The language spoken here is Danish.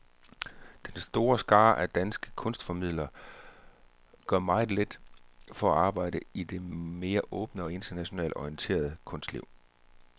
Den store skare af danske kunstformidlere gør meget lidt for at arbejde i det mere åbne og internationalt orienterede kunstliv.